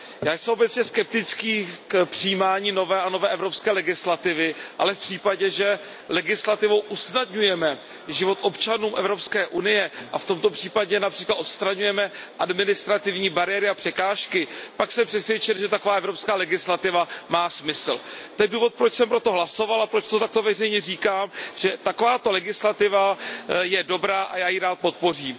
Já jsem všeobecně skeptický k přijímání nové a nové evropské legislativy, ale v případě, že legislativou usnadňujeme život občanů Evropské unie a v tomto případě například odstraňujeme administrativní bariéry a překážky pak jsem přesvědčen, že taková evropská legislativa má smysl. To je důvod, proč jsem pro dokument hlasoval a proč takto veřejně říkám, že taková legislativa je dobrá a já ji rád podpořím.